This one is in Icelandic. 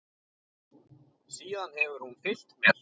Síðan hefur hún fylgt mér.